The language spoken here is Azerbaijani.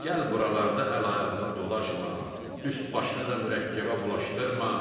Gəl buralarda əl-ayağıma dolaşma, üst-başını da mürəkkəbə bulaşdırma.